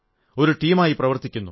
ഒരു ടീമായി പ്രവർത്തിക്കുന്നു